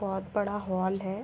बहोत बड़ा हॉल है।